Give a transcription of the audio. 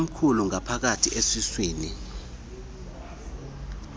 omkhulu ngaphakathi esiswini